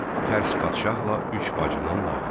Tərs padşahla üç bacının nağılı.